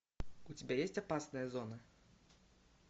у тебя есть опасная зона